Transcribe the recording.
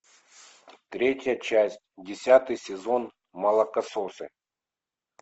третья часть десятый сезон молокососы